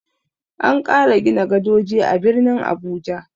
An ƙara gina gadoji a birnin Abuja.